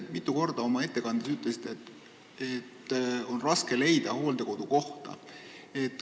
Te oma ettekandes ütlesite mitu korda, et on raske leida hooldekodukohta.